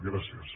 gràcies